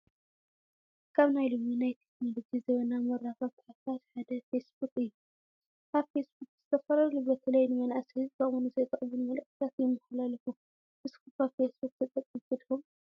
ካብ ናይ ሎሚ ናይ ቴክኖሎጂ ዘበናዊ መራኸብቲ ሓፋሽ ሓደ ፌስቡክ እዩ፡፡ ኣብ ፌስቡክ ዝተፈላለዩ በተለይ ንመናእሰይ ዝጠቕሙን ዘይጠቕሙን መልእኽትታት ይማሓላለፉ፡፡ ንስኹም ከ ፊስቡክ ተጠቀመቲ ዲኹም?